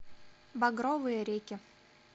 багровые реки